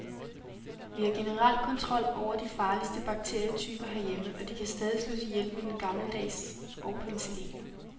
Vi har generelt kontrol over de farligste bakterietyper herhjemme, og de kan stadig slås ihjel med den gammeldags og penicillin.